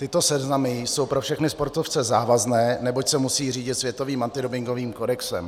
Tyto seznamy jsou pro všechny sportovce závazné, neboť se musí řídit světovým antidopingovým kodexem.